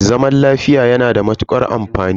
Zaman lafiya yana da matukar amfani.